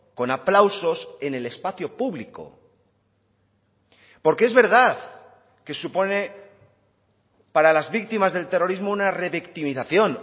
con aplausos en el espacio público porque es verdad que supone para las víctimas del terrorismo una revictimización